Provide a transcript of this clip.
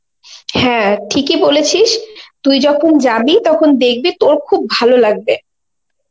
হ্যাঁ ঠিকই বলেছিস তুই যখন যাবি তখন দেখবি তোর খুবই ভালো লাগবে